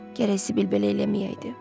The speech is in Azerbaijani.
Gərək Sibild belə eləməyəydi.